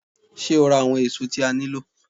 Ṣé́ o ra àwọn èso tí a nílò?